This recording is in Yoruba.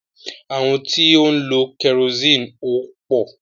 Àwọn tí ó ń lọ kẹrosiini ò pò.